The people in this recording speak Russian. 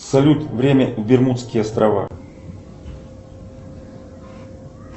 салют время бермудские острова